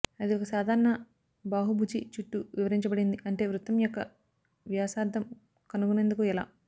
అది ఒక సాధారణ బహుభుజి చుట్టూ వివరించబడింది ఉంటే వృత్తం యొక్క వ్యాసార్థం కనుగొనేందుకు ఎలా